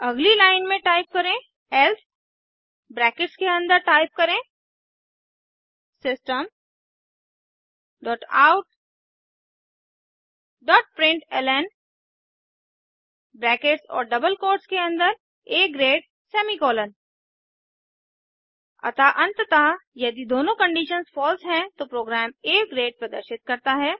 अगली लाइन में टाइप करें elseब्रैकेट्स के अन्दर टाइप करें system dot out dot println brackets और डबल कोट्स के अन्दर आ ग्रेडसेमीकोलन अतः अंततः यदि दोनों कंडीशंसफॉल्स हैं तो प्रोग्राम आ ग्रेड प्रदर्शित करता है